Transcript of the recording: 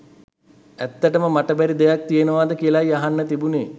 ඇත්තටම මට බැරි දෙයක් තියෙනවද කියලයි අහන්න තිබුනේ.